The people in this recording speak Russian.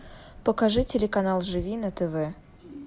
покажи телеканал живи на тв